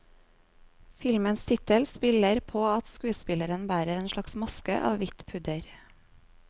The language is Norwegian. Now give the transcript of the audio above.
Filmens tittel spiller på at skuespilleren bærer en slags maske av hvitt pudder.